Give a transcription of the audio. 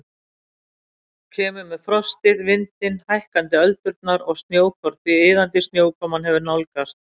Kemur með frostið, vindinn, hækkandi öldurnar og snjókorn því iðandi snjókoman hefur nálgast.